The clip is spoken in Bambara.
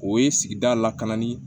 O ye sigida lakananni